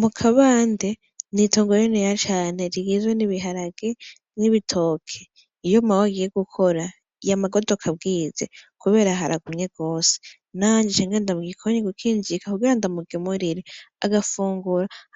Mu kabande, ni itongo rininiya cane rigizwe n'ibiharage n'ibitoki. Iyo Mawe agiye gukora, yama agodoka bwije kubera haragumye gose nanje nkaca nja mu gikoni gukinjika kugira ndamugaburire